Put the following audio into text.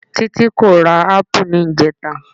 Títí kò ra ápù níjẹta.